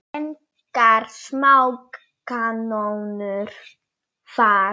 Engar smá kanónur þar!